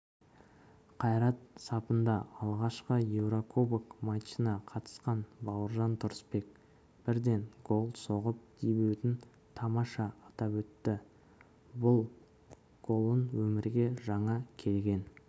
әқайрат сапында алғашқы еурокубок матчына қатысқан бауыржан тұрысбек бірден гол соғып дебютін тамаша атап өтті ол бұл голын өмірге жаңа келген